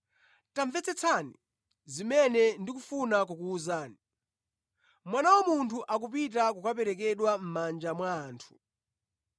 “Tamvetsetsani zimene ndikufuna kukuwuzani: Mwana wa Munthu akupita kukaperekedwa mʼmanja mwa anthu.”